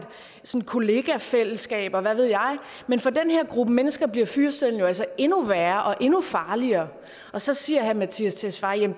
kollegafællesskab og hvad ved jeg men for den her gruppe mennesker bliver fyreseddelen jo altså endnu værre og endnu farligere så siger herre mattias tesfaye